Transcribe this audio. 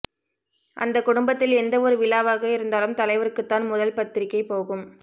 அந்த குடும்பத்தில் எந்த ஒரு விழாவாக இருந்தாலும் தலைவருக்குத்தான் முதல் பத்திரிகை போகும்